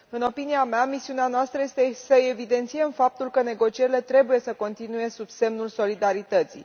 În opinia mea, misiunea noastră este să evidențiem faptul că negocierile trebuie să continue sub semnul solidarității.